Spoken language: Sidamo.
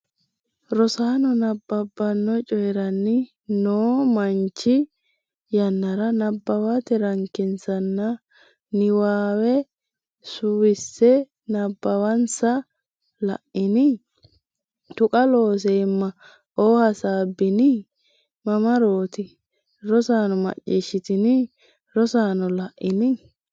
Rosaano nabbabbanno coyirani noo manchi yannara nabbawate rankensanna niwaawe suwisse nabbawansa La’ini? Taqa Looseemma o Hasaabbini? mamarooti? Rosaano macciishshitini? Rosaano la’ini?